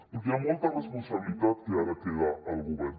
perquè hi ha molta responsabilitat que ara queda al govern